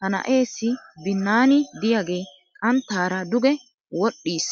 Ha na"eessi binnaani diyagee xanttaara duge wodhdhiis.